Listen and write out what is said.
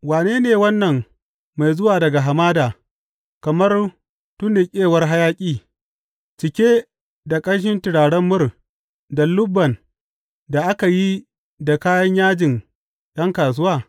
Wane ne wannan mai zuwa daga hamada kamar tunnuƙewar hayaƙi, cike da ƙanshin turaren mur da lubban da aka yi da kayan yajin ’yan kasuwa?